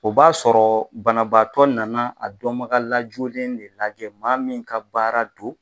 O b'a sɔrɔ banabaatɔ nana a dɔnbagalajolen de lajɛ, maa min ka baara don.